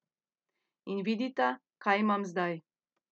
In vidita, kaj imam zdaj!